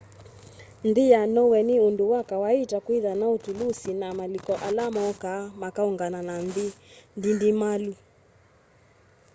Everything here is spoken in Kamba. nthĩ ya norway nĩ ũndũ wa kawaita kwĩtha na tũlũsĩ na malĩko ala mokaa makaũngana na nthĩ ndĩndĩmalũ